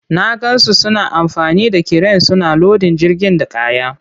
Na gan su suna amfani da kiren suna lodin jirgin da kaya.